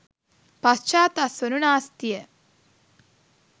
පාශ්චාත් අස්වනු නාස්තිය